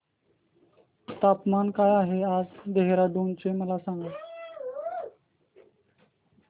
तापमान काय आहे आज देहराडून चे मला सांगा